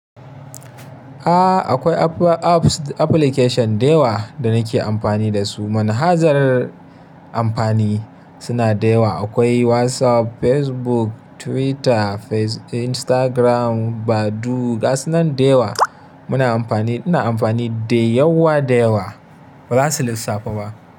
A akwai apps application da yawa da nake amfani da su. Manhajar amfani suna da yawa. Akwai WhatsApp, Facebook, Twitter, Instagram, Badoo gasa nan da yawa muna amfani. Ina amfani da yawa da yawa ba za su lissafu ba.